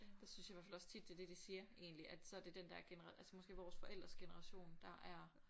Der synes jeg hvert fald også tit det er det de siger egentlig at så det den der genera altså måske vores forældres generation der er